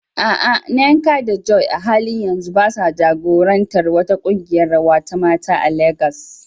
A'a, Nneka da Joy a halin yanzu ba sa jagorantar wata kungiyar rawa ta mata a Legas.